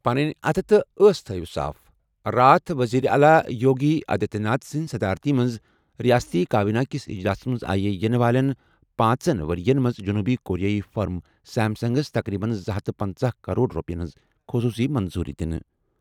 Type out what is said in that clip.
پنٕنۍ اَتھٕ تہٕ ٲس تھٲوِو صاف۔ راتھ وزیر اعلیٰ یوگی آدتیہ ناتھ سنٛز صدارت منٛز ریاستی کابینہ کِس اجلاسَس منٛز آیہِ یِنہٕ والٮ۪ن پانٛژن ؤرۍ یَن منٛز جنوٗبی کوریٲیی فرم سیمسنگَس تقریباً زٕ ہتھَ پَنژَہ کروڑ رۄپیَن ہٕنٛز خصوصی منظوری دِنہٕ۔